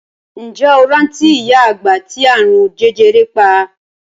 Ǹjẹ́ o rántí ìyá àgbà ti àrùn jẹjẹrẹ pa?